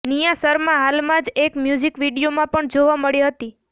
નિયા શર્મા હાલમાં જ એક મ્યુઝિક વીડિયોમાં પણ જોવા મળી હતી